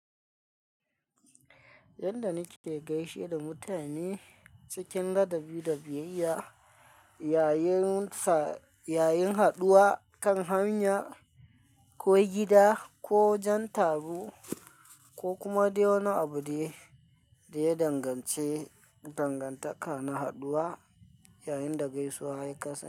Yanda nike gaishe da mutane cikin ladabi da biyayya yayin fa, yayin haɗuwa kan hanya ko gida ko wajen taro ko kuma dai wani abu dai da ya dangance dangantaka na haɗuwa yayin da gaisuwa ya kasa.